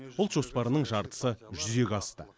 ұлт жоспарының жартысы жүзеге асты